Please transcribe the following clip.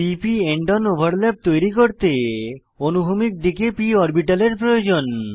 p p end on overlap তৈরী করতে অনুভূমিক দিকে p অরবিটালের প্রয়োজন